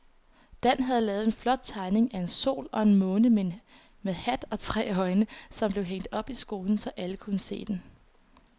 Dan havde lavet en flot tegning af en sol og en måne med hat og tre øjne, som blev hængt op i skolen, så alle kunne se den.